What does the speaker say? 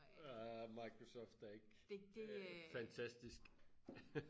ah Microsoft er ikke øh fantastisk